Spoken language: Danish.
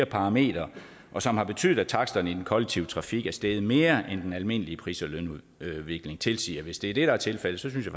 parametre og som har betydet at taksterne i den kollektive trafik er steget mere end den almindelige pris og lønudviklingen tilsiger hvis det er det der er tilfældet så synes